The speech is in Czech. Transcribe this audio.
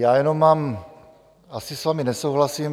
Já jenom mám... asi s vámi nesouhlasím.